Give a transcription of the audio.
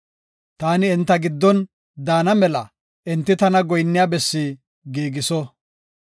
Taani enta giddon daana mela enti tana goyinniya bessi giigiso.”